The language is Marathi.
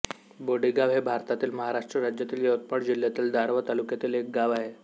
बोडेगाव हे भारतातील महाराष्ट्र राज्यातील यवतमाळ जिल्ह्यातील दारव्हा तालुक्यातील एक गाव आहे